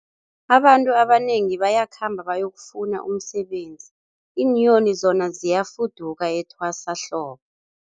Abantu abanengi bayakhamba bayokufuna umsebenzi, iinyoni zona ziyafuduka etwasahlobo.